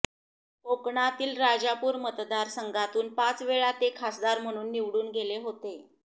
कोकणातील राजापूर मतदार संघातून पाचवेळा ते खासदार म्हणून निवडून गेले होते